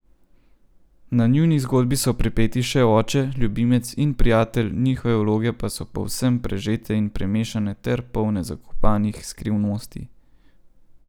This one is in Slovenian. Na njuni zgodbi so pripeti še oče, ljubimec in prijatelj, njihove vloge pa so povsem prežete in premešane ter polne zakopanih skrivnosti.